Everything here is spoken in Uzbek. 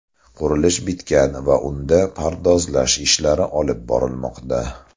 Qurilish bitgan va unda pardozlash ishlari olib borilmoqda.